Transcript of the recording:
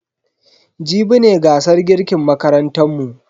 Jibi ne gasar girkin makarantan mu.